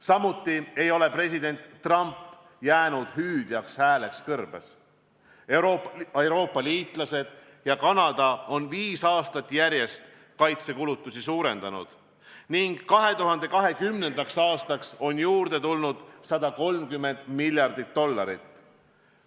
Samuti ei ole president Trump jäänud hüüdja hääleks kõrbes: Euroopa liitlased ja Kanada on viis aastat järjest kaitsekulutusi suurendanud ning 2020. aastaks on juurde tulnud 130 miljardit dollarit.